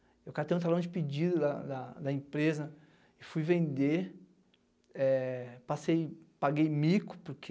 Eu catei um talão de pedido da da da empresa, fui vender, eh passei, paguei mico porque